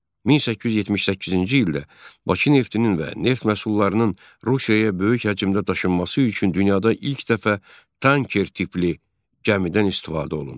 1878-ci ildə Bakı neftinin və neft məhsullarının Rusiyaya böyük həcmdə daşınması üçün dünyada ilk dəfə tanker tipli gəmidən istifadə olundu.